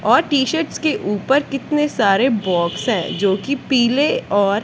और टी-शर्टस के ऊपर कितने सारे बॉक्स है जो की पीले और--